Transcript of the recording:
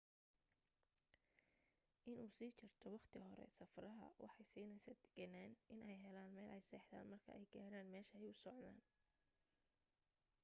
in uu sii jarto waqti hore safraha waxay siineysa deganaan iney helaan meel ay seexdan marka ay gaaran meesha ay u socdaan